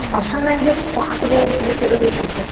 а шын мәнінде бақытты болудың себептері өте көп